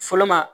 Fɔlɔma